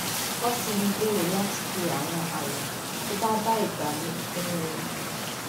wón sì ń gbèrò láti fi àwọn àwò tó bá bá ìgbà mu kún un